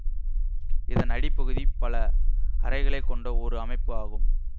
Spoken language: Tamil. இதன் அடிப்பகுதி பல அறைகளை கொண்ட ஒரு அமைப்பு ஆகும்